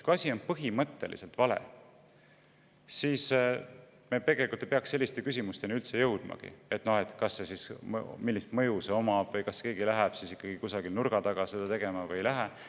Kui asi on põhimõtteliselt vale, siis me tegelikult ei peaks üldse jõudmagi selliste küsimusteni, et millist mõju see või kas keegi läheb seda kusagile nurga taha tegema või ei lähe.